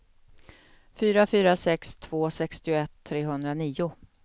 fyra fyra sex två sextioett trehundranio